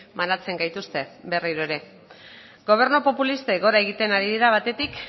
banatzen gaituzte berriro ere gobernu populistek gora egiten ari dira batetik